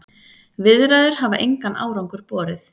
Viðræður hafa engan árangur borið.